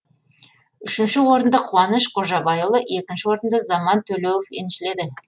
үшінші орынды қуаныш қожабайұлы екінші орынды заман төлеуов еншіледі